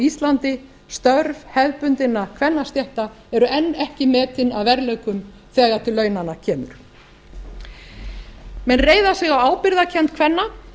íslandi störf hefðbundinna kvennastétta eru enn ekki metin að verðleikum þegar til launanna kemur menn reiða sig á ábyrgðarkennd kvenna